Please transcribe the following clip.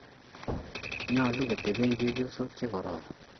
nyolu kotoben chepyosok che kororon.